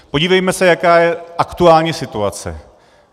Podívejme se, jaká je aktuální situace.